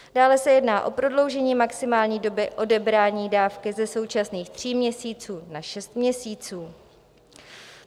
Dále se jedná o prodloužení maximální doby odebrání dávky ze současných tří měsíců na šest měsíců.